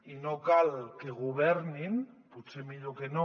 i no cal que governin potser millor que no